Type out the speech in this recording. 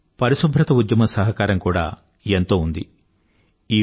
ఇందులో పరిశుభ్రత ఉద్యమం సహకారం కూడా ఎంతో ఉంది